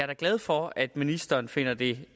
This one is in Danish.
da glad for at ministeren finder det